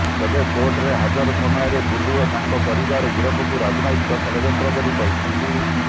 ତେବେ କୋର୍ଟରେ ହାଜର ସମୟରେ ବୁଲୁ ଓ ତାଙ୍କ ପରିବାର ଗିରଫକୁ ରାଜନୈତିକ ଷଡଯନ୍ତ୍ର ବୋଲି କହିଛନ୍ତି